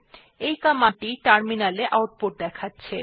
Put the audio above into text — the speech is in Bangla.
এই কমান্ড টি টার্মিনাল এ আউটপুট দেখাছে